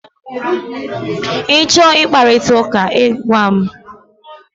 Ị chọọ ị kparịta ụka, ị gwa m!